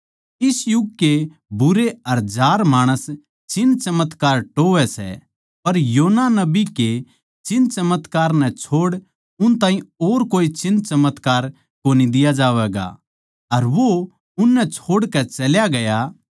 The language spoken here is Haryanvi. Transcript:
इस युग के बुरे अर जार माणस चिन्हचमत्कार टोह्वैं सै पर योना नबी के चिन्हचमत्कार नै छोड़ उन ताहीं और कोए चिन्हचमत्कार कोनी दिया जावैगा अर वो उननै छोड़कै चल्या गया